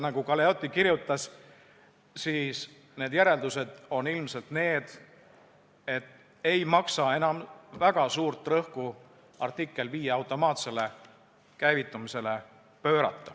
Nagu Galeotti kirjutas, siis need järeldused on ilmselt need, et ei maksa enam väga suurt rõhku panna artikkel 5 automaatsele käivitumisele.